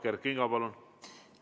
Kert Kingo, palun!